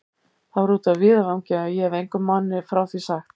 Það var úti á víðavangi, og ég hefi engum manni frá því sagt.